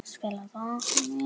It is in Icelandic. Hvenær fýkur það af?